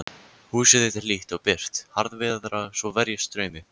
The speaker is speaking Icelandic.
Húsið þitt er hlýtt og byrgt, harðviðra svo verjist straumi.